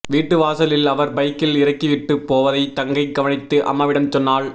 வீட்டுவாசலில் அவர் பைக்கில் இறக்கிவிட்டுப் போவதை தங்கை கவனித்து அம்மாவிடம் சொன்னாள்